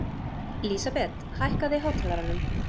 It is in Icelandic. Lísabet, hækkaðu í hátalaranum.